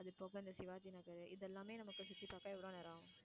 அது போக இந்த சிவாஜி நகரு இது எல்லாமே நமக்கு சுத்தி பாக்க எவ்ளோ நேரம் ஆகும்?